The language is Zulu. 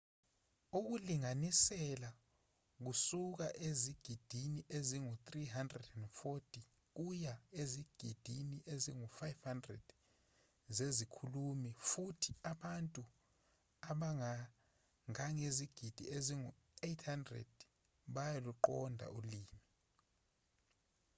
ukulinganisela kusuka ezigidini ezingu-340 kuya ezigidini ezingu-500 zezikhulumi futhi abantu abangangezigidi ezingu-800 bayaluqonda ulimi